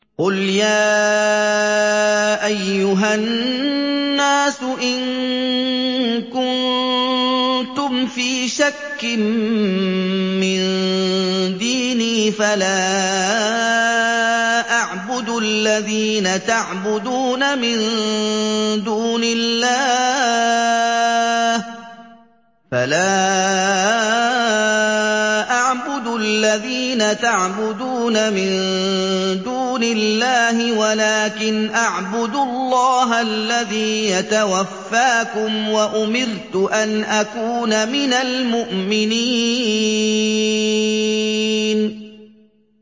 قُلْ يَا أَيُّهَا النَّاسُ إِن كُنتُمْ فِي شَكٍّ مِّن دِينِي فَلَا أَعْبُدُ الَّذِينَ تَعْبُدُونَ مِن دُونِ اللَّهِ وَلَٰكِنْ أَعْبُدُ اللَّهَ الَّذِي يَتَوَفَّاكُمْ ۖ وَأُمِرْتُ أَنْ أَكُونَ مِنَ الْمُؤْمِنِينَ